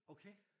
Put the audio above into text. Okay?